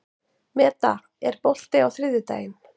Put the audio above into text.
Meda, er bolti á þriðjudaginn?